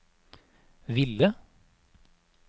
ville